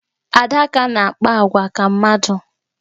Adaká na-akpa agwa ka mmadụ.